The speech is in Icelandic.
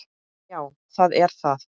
Já, það er það